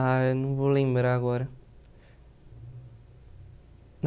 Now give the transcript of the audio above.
Ah, eu não vou lembrar agora.